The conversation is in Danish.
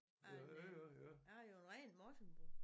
Af en øh jeg er jo en rigtig Morsingbo